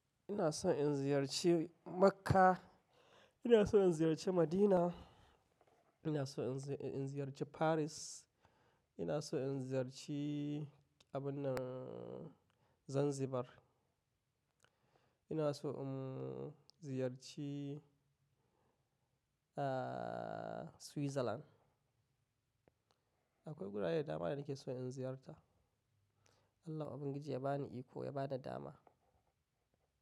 Ina son in ziyarci Makkah, ina son in ziyarci Madinah, ina son in ziyarci Paris, ina son in ziyarci abunnan Zanzibar. Ina so in ziyarci, ah, Switzerland. Akwai gurare da dama ne nake so in ziyarta. Allah ubangiji ya bani iko, ya bada dama.